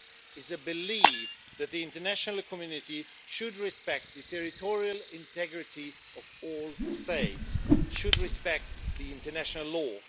is the belief that the international community should respect the territorial integrity of all states and should respect international law.